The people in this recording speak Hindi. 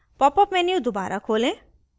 popअप menu दोबारा खोलें